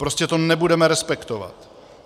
Prostě to nebudeme respektovat.